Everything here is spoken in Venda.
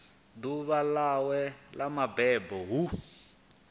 ḓuvha ḽawe ḽa mabebo hu